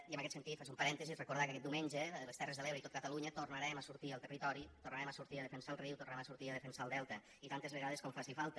i en aquest sentit faig un parèntesi recordar que aquest diumenge a les terres de l’ebre i a tot catalunya tornarem a sortir al territori tornarem a sortir a defensar el riu tornarem a sortir a defensar el delta i tantes vegades com faci falta